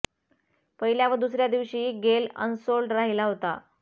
पहिल्या व दुसऱ्या दिवशीही गेल अनसोल्ड राहिला होता